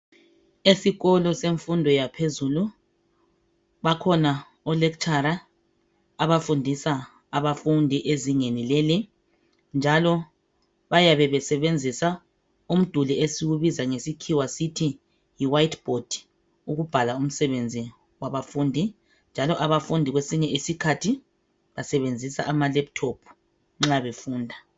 Esikolo semfundo yaphezulu bakhona o lecturer abafundisa abafundi ezingeni leli njalo bayabe bayebesebenzisa umduli esuwubizangesikhiwa sisithi yi whiteboard ukubhala umsebenzi wabafundi njalo abafundi kwesinye isikhathi abafundi kwesinye isikhathi basebenzisa ama laptop nxa befunda.